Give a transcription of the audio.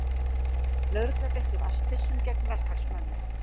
Lögregla beitti vatnsbyssum gegn verkfallsmönnum